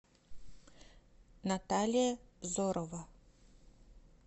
наталья зорова